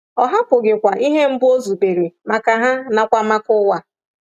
Ọ hapụghịkwa ihe mbụ o zubere maka ha nakwa maka ụwa.